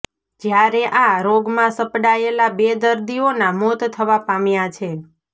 જ્યારે આ રોગમાં સપડાયેલા બે દર્દીઓના મોત થવા પામ્યા છે